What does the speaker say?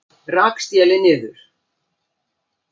Rak stélið niður